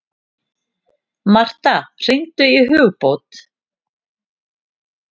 Martha, hringdu í Hugbót.